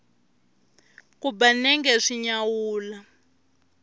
ku ba nenge swi nyawula